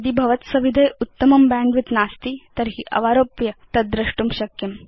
यदि भवत्सविधे उत्तमं बैण्डविड्थ नास्ति तर्हि अवारोप्य तद् द्रष्टुं शक्यम्